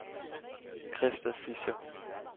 Krista Fischer